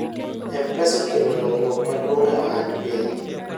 mpesa okelo lokruok maduong' e ohand piny